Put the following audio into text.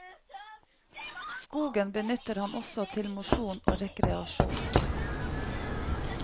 Skogen benytter han også til mosjon og rekreasjon.